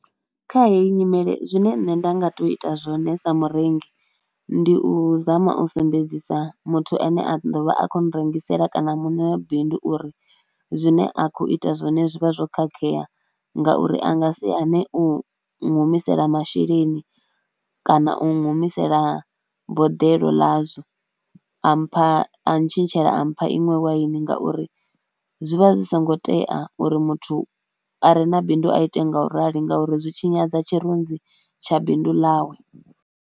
Kha heyi nyimele zwine nṋe nda nga tou ita zwone sa murengi ndi u zama u sumbedzisa muthu ane a ḓo vha a khou nrengisela kana muṋe wa bindu uri zwine a khou ita zwone zwi vha zwo khakhea ngauri a nga si hane u humisela masheleni kana u humisela boḓelo ḽazwo, a mpha, a tshintshela a mpha iṅwe waini ngauri zwi vha zwi songo tea uri muthu a re na bindu a ite nga u rali ngauri zwi tshinyadza tshirunzi tsha bindu ḽawe.